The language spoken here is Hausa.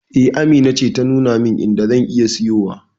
E, Amina ce ta nuna min inda zan iya siyowa.